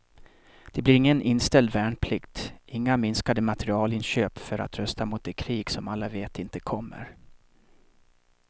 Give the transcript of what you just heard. Det blir ingen inställd värnplikt, inga minskade materielinköp för att rusta mot det krig som alla vet inte kommer.